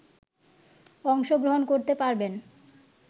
অংশগ্রহণ করতে পারবেন